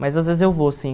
Mas às vezes eu vou, sim.